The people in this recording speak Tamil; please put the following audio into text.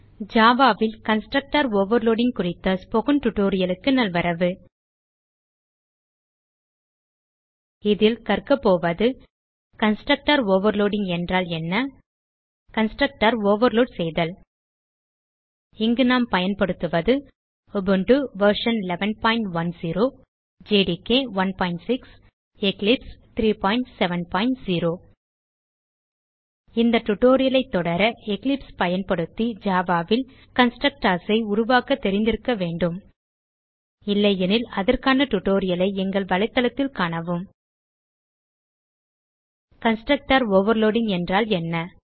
ஜாவா ல் கன்ஸ்ட்ரக்டர் ஓவர்லோடிங் குறித்த ஸ்போக்கன் டியூட்டோரியல் க்கு நல்வரவு இதில் கற்கப்போவது கன்ஸ்ட்ரக்டர் ஓவர்லோடிங் என்றால் என்ன கன்ஸ்ட்ரக்டர் ஓவர்லோட் செய்தல் இங்கு நாம் பயன்படுத்துவது உபுண்டு வெர்ஷன் 1110 ஜேடிகே 16 எக்லிப்ஸ் 370 இந்த டியூட்டோரியல் ஐ தொடர எக்லிப்ஸ் பயன்படுத்தி ஜாவா ல் கன்ஸ்ட்ரக்டர்ஸ் உருவாக்க தெரிந்திருக்க வேண்டும் இல்லையெனில் அதற்கான டியூட்டோரியல் ஐ எங்கள் வலைத்தளத்தில் காணவும் httpwwwspoken tutorialஆர்க் கன்ஸ்ட்ரக்டர் ஓவர்லோடிங் என்றால் என்ன